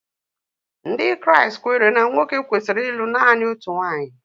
Ndị Kraịst kweere na nwoke kwesịrị ịlụ naanị otu nwaanyị.